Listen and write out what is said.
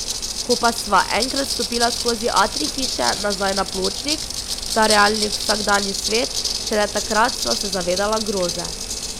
Ko pa sva enkrat stopila skozi atrij hiše nazaj na pločnik, v ta realni vsakdanji svet, šele takrat sva se zavedala groze.